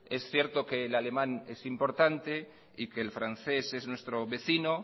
es cierto que el alemán es importante que el francés es nuestro vecino